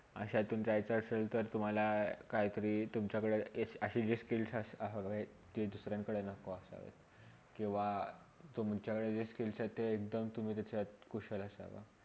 शातून जायचा आसेल तर तुम्हाला काहीतरी तुमच्याकडे अशी जी skills हवेत कि दुसऱ्यांकडे नको असावे किवा तुमच्याकडे जी skills आहेत ते एकदम तुम्ही त्याच्यात कुशल असावा.